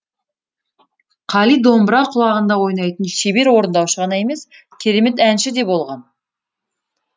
қали домбыра құлағында ойнайтын шебер орындаушы ғана емес керемет әнші де болған